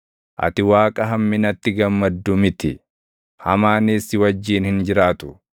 Ati Waaqa hamminatti gammadu miti; hamaanis si wajjin hin jiraatu.